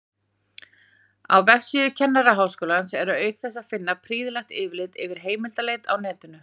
Á vefsíðu Kennaraháskólans er auk þess að finna prýðilegt yfirlit yfir heimildaleit á netinu.